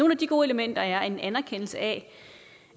af de gode elementer er en anerkendelse af